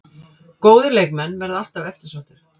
Góðir leikmenn verða alltaf eftirsóttir